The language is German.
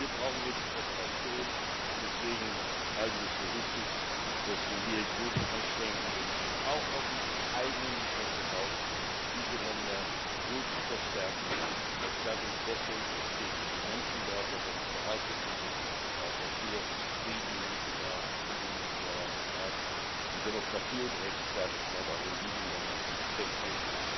Hier brauchen wir die Kooperation, und deswegen halte ich es für wichtig, dass wir hier große Anstrengungen unternehmen, auch aus unserem eigenen Interesse heraus diese Länder so zu stärken, dass dadurch Besserung entsteht für die Menschen dort, was eine Voraussetzung dafür ist, dass auch hier Frieden im Mittelmeer und um das Mittelmeer herum herrscht, und um Demokratie und Rechtsstaatlichkeit auch in diesen Ländern zu verfestigen.